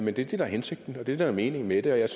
er det der er hensigten og det der er meningen med det jeg er